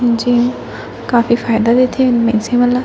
gym काफी फायदा होंथे मनखे मन ल--